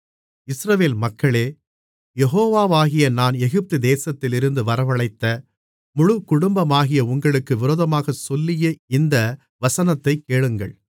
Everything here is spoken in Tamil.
இஸ்ரவேல் மக்களே யெகோவாகிய நான் எகிப்து தேசத்திலிருந்து வரவழைத்த முழுக்குடும்பமாகிய உங்களுக்கு விரோதமாகச் சொல்லிய இந்த வசனத்தைக் கேளுங்கள்